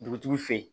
Dugutigi fɛ ye